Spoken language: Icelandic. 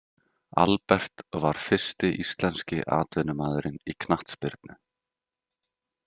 Albert var fyrsti íslenski atvinnumaðurinn í knattspyrnu.